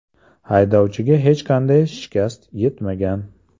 Haydovchiga hech qanday shikast yetmagan.